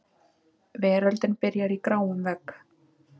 Veröldin byrjar í gráum vegg.